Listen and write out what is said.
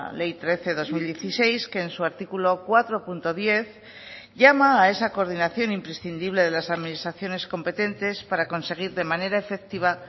ley trece barra dos mil dieciséis que en su artículo cuatro punto diez llama a esa coordinación imprescindible de las administraciones competentes para conseguir de manera efectiva